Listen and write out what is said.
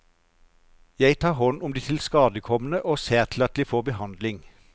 Jeg tar hånd om de tilskadekomne og ser til at de får behandling.